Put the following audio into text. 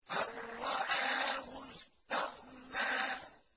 أَن رَّآهُ اسْتَغْنَىٰ